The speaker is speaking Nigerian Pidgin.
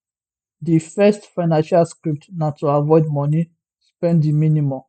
di first financial script na to avoid money spend di minimum